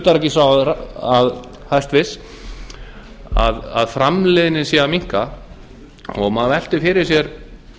utanríkisráðherra hæstvirtur að framleiðnin sé að minnka og maður veltir fyrir sér